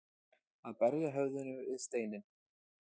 Að berja höfðinu við steininn